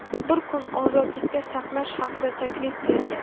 bir kun ozodlikda saqlash haqida taklif bergan.